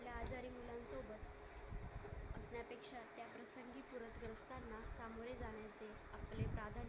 आपले साधन